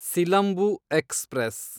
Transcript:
Silambu express